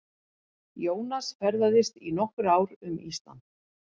Jónas ferðaðist í nokkur ár um Ísland.